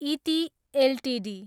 इति एलटिडी